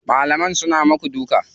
Malaman suna muku duka?